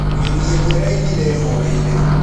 Nyonĩ ĩmwe ĩraĩnĩre ĩhoreĩre.